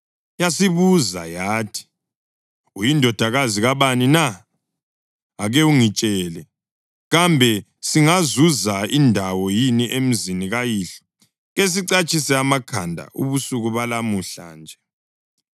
Yasibuza yathi, “Uyindodakazi kabani na? Ake ungitshele, kambe singazuza indawo yini emzini kayihlo kesicatshise amakhanda ubusuku balamuhla nje?”